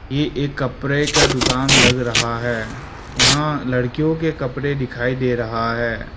ये एक कपड़े का दुकान लग रहा है यहां लड़कियों के कपड़े दिखाई दे रहा है।